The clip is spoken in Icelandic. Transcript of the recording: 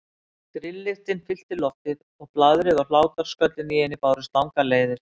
Grilllyktin fyllti loftið og blaðrið og hlátrasköllin í henni bárust langar leiðir.